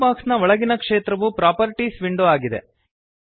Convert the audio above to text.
ಕೆಂಪು ಬಾಕ್ಸ್ನ ಒಳಗಿನ ಕ್ಷೇತ್ರವು ಪ್ರಾಪರ್ಟೀಸ್ ವಿಂಡೋ ಆಗಿದೆ